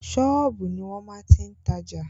Ṣọ́ọ̀bù ni wọ́n máa ti tajà.